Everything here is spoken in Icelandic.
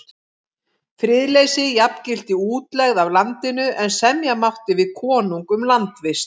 Friðleysi jafngilti útlegð af landinu, en semja mátti við konung um landvist.